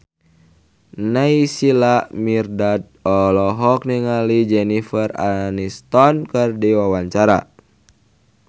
Naysila Mirdad olohok ningali Jennifer Aniston keur diwawancara